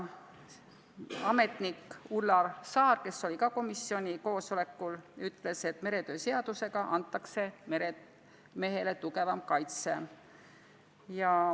Ametnik Ulla Saar, kes oli ka komisjoni koosolekul, ütles, et meretöö seadusega antakse meremehele tugevam kaitse.